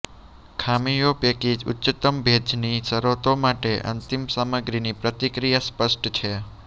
ખામીઓ પૈકી ઉચ્ચતમ ભેજની શરતો માટે અંતિમ સામગ્રીની પ્રતિક્રિયા સ્પષ્ટ છે